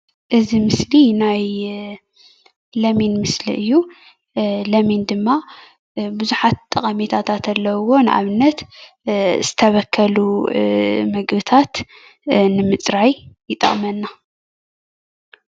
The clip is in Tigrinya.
እዚ ምስሊ ናይ ለሚን ምስሊ እዩ:: ለሚን ድማ ብዙሓት ጥቅምታት ኣለውዎ:: ንኣብነት ዝተበከሉ ምግብታት ንምፅራይ ይጠቅመና፡፡